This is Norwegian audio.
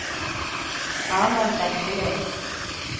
Arnold Bekkelund